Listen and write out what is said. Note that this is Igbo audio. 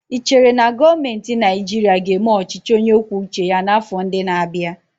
Ị chere na gọọmentị Naịjirịa ga-eme ọchịchị onye kwuo uche ya n'afọ ndị na-abịa?